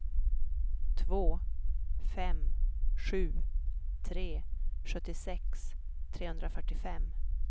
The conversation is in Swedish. två fem sju tre sjuttiosex trehundrafyrtiofem